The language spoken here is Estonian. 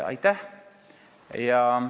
Aitäh!